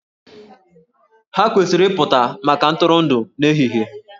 Ha kwesịrị ịpụta maka ntụrụndụ n'ehihie